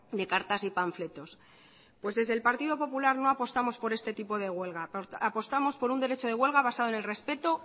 de cartas y panfletos pues desde el partido popular no apostamos por este tipo de huelga apostamos por un derecho de huelga basado en el respeto